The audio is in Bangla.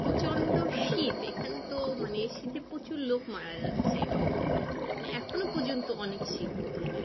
প্রচন্ড শীত এখানে তো মানে শীতে প্রচুর লোক মারা যাচ্ছে মানে এখনো পর্যন্ত অনেক শীত ওখানে